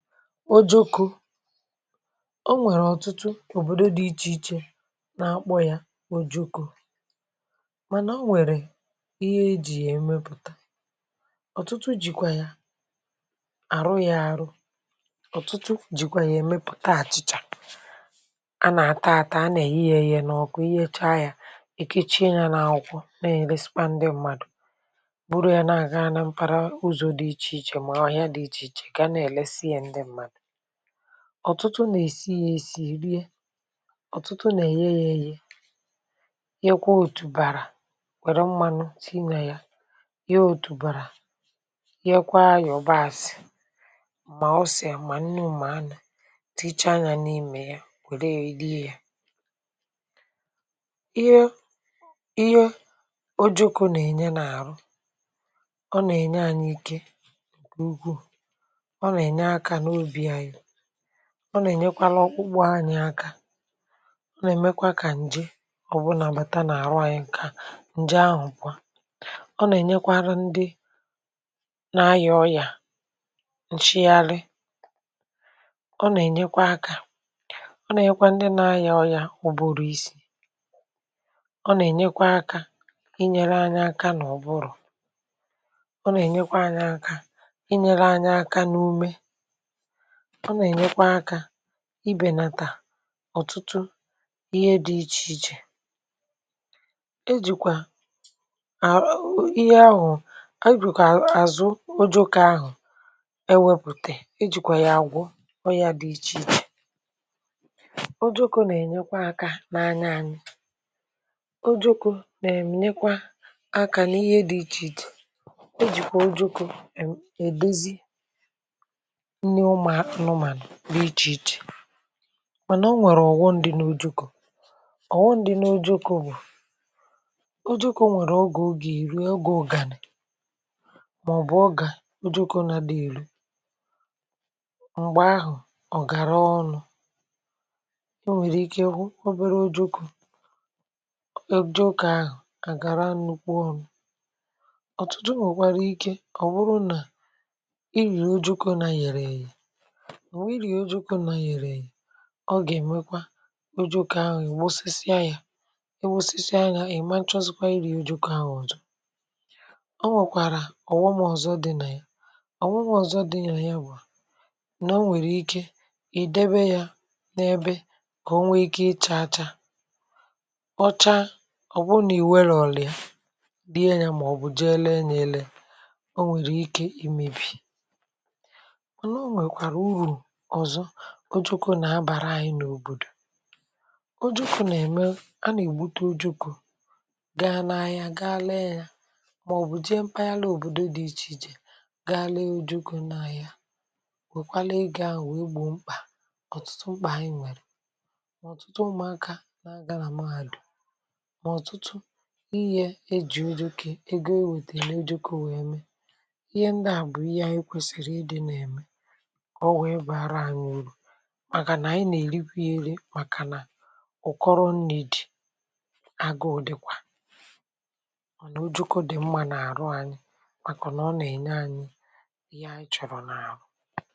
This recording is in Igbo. o jukù o nwèrè ọ̀tụtụ òbòdo dị ichè ichè n’akpọ̇ ya o jukù mànà o nwèrè ihe ejì yà-emepùta ọ̀tụtụ jìkwà ya àrụ ya àrụ ọ̀tụtụ jìkwà yà-emepùta àchị̀chà a nà-àta àta a nà-èghi yȧ ėyė n’ọkụ ihe echa yȧ ì kechie yȧ n’akwụkwọ na-èresikwa ndị mmadù bụrụ ya na-àga na mpara ụzọ̀ dị ichè ichè mà ọhià dị ichè ichè ọ̀tụtụ nà-èsi ya èsi rie. ọ̀tụtụ nà-èghe yȧ ėghė yekwa òtùbàrà wère mmanụ tinye ya ya òtùbàrà yekwa yọ̀basị̀ mà ọse, mà nnu, ma mmanụ̀ tichaa ya n’imė ya wère rie ya ihe ihe o jokȯ nà-ènye n’àrụ ọ nà-ènye anyị̇ ike ọ nà-ènyekwara ọkpụkpụ anyị aka ọ nà-èmekwa kà ǹje ọ̀bụlà bàta n’àrụ anyị ǹka ǹje ahụ̀kwa ọ nà-ènyekwara ndị nȧ ayà ọyà ǹchi yȧrị ọ nà-ènyekwa aka ọ nà-ènyekwa ndị nȧ ayà ọyà ụ̀bụrụ̀ isi ọ nà-ènyekwa aka inyere anyị aka nà ọ bụrụ ọ nà-ènyekwa anyị aka inyere anyị aka n’ume ibènata ọ̀tụtụ ihe dị̇ ichèichè ejìkwà a ȧ ihe ahụ̀ ijì kà àzụ ojokwa ahụ̀ ewepùtè ijì kwà yà àgwọ ọyȧ dị̇ ichèichè ojokwa nà-ènyekwa aka n’anya anyị ojokwa nà-ènyekwa aka n’ihe dị̇ íchéíche ejikwa ojokwa èdezi n’ịchì ịchì mànà o nwèrè ọ̀wụndị̀ n’ojụkụ̀ ọ̀wụndị̀ n’ojụkụ̀ bụ̀ o jukwu nwèrè ogè ogè ị̀rị̀ ogè ọ̀gànị̀ màọ̀bụ̀ ọ gà o jukwu nà dị̀ ìlù m̀gbè ahụ̀ ọ̀ gàra ọnụ̇ o nwèrè ike obere o jukwu e ji ụkà agara nnukwu ọ̀nụ̇ ọ̀tụtụ m wụ̀kwara ike ọ̀ wụrụ nà ọ gà-èmekwa ojokwa ahụ̀ ùgosisia yȧ e gbosisi anya èmanchọzikwa iri̇ ojokwa ahụ̀ ọ̀zọ ọ nwèkwàrà ọ̀ghọmọ̀zọ dị nà ya ọ̀ nwụmọ̀zọ dị ànyị ya bù à nà o nwèrè ike ìdebe yȧ n’ebe kà o nwe ike ichȧacha ọcha ọ̀ bụrụ nà ìnwe rọ̀rọ̀ ọ̀ lee ya dịye yȧ mà ọ̀ bụ̀ jee lee nà ele o nwèrè ike imebi, mákwá owé iru o jukwu na-abara anyị n’òbòdò o jukwu na-eme a na-egbute o jukwu gaa na-ahịa gaa lee ya maọbụ jee mpaghara òbòdo dị iche iche gaa lee o jukwu na-ahịa wekwalee ego ahụ wee gbo mkpa ọtụtụ mkpà anyị nwere ma ọtụtụ ụmụaka na-aga na mahadum ma ọtụtụ ihé éji ego wétéré nà iré ojukwu, ihé ndi a bu hé kwésiri gà ànyị nà-èrikwa yȧ ere màkànà ụ̀kọrọ nni̇ dị̀ agụ̇ dịkwà ọ̀ nà o juku dị mma nà-àrụ anyị màkà nà ọ nà-ènye anyị ihe anyị chọ̀rọ̀ n’àrụ